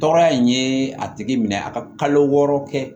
Tɔɔrɔya in ye a tigi minɛ a ka kalo wɔɔrɔ kɛ